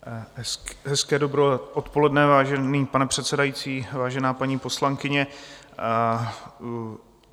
Hezké dobré odpoledne, vážený pane předsedající, vážená paní poslankyně.